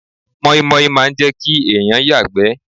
Mọ́ímọ́í máa n jẹ́ kí èèyàn yàgbẹ́